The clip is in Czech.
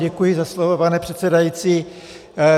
Děkuji za slovo, pane předsedající.